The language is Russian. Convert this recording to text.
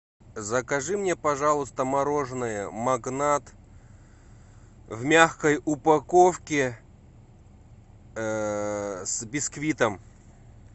закажи мне пожалуйста мороженое магнат в мягкой упаковке с бисквитом